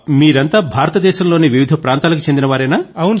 వీరంతా భారతదేశం లోని వివిధ ప్రాంతాలకు చెందిన వారేనా